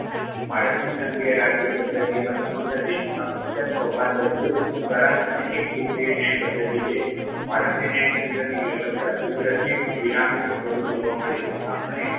ભારતની સંઘીય રાજ્યપદ્ધતિમાં સમગ્ર દેશમાં એક જ ચોપાનબદ્ધ સળંગ અને એકસૂત્રીય ન્યાયપદ્ધતિ છે. ભારતની ન્યાયતંત્રની વ્યવસ્થા સુગ્રથિક pyramid સ્વરૂપે જોવા મળે છે આપણે